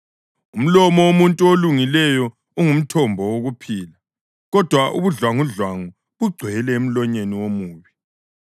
Umlomo womuntu olungileyo ungumthombo wokuphila, kodwa ubudlwangudlwangu bugcwele emlonyeni womubi.